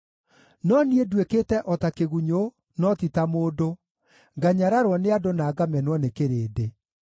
No niĩ nduĩkĩte o ta kĩgunyũ, no ti ta mũndũ, nganyararwo nĩ andũ na ngamenwo nĩ kĩrĩndĩ.